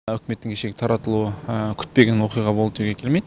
үкіметтің кешегі таратылуы күтпеген оқиға болды деуге келмейді